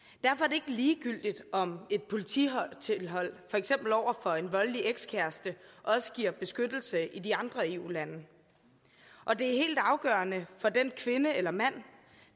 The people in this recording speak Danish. ikke ligegyldigt om et polititilhold for eksempel over for en voldelig ekskæreste også giver beskyttelse i de andre eu lande og det er helt afgørende for den kvinde eller mand